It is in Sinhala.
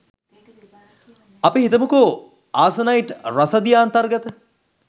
අපි හිතමුකෝ ‍ආසනයිට් රසදිය අන්තර්ගත